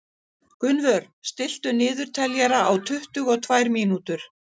Gunnvör, stilltu niðurteljara á tuttugu og tvær mínútur.